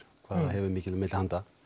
hvað það hefur mikið á milli handa